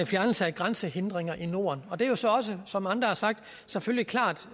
fjernelse af grænsehindringer i norden det er jo så også som andre har sagt selvfølgelig klart